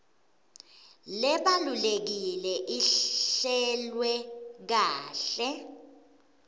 lebalulekile ihlelwe kahle